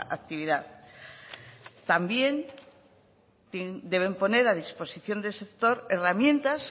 actividad también deben poner a disposición del sector herramientas